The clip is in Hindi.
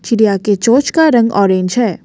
चिड़िया के चोंच का रंग ऑरेंज है।